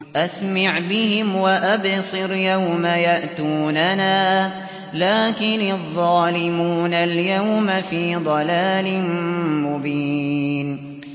أَسْمِعْ بِهِمْ وَأَبْصِرْ يَوْمَ يَأْتُونَنَا ۖ لَٰكِنِ الظَّالِمُونَ الْيَوْمَ فِي ضَلَالٍ مُّبِينٍ